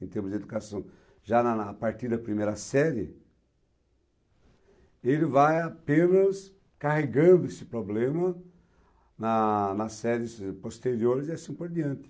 em termos de educação, já na na a partir da primeira série, ele vai apenas carregando esse problema na nas séries posteriores e assim por diante.